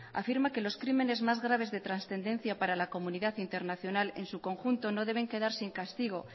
afirma que los crímenes más graves de trascendencia para la comunidad internacional en su conjunto no deben quedar sin castigo